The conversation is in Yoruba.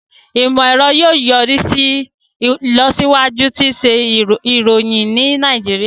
Imọ-ẹrọ yóò yorisi ilọsiwaju ti iṣẹ iroyin ni Nàìjíríà.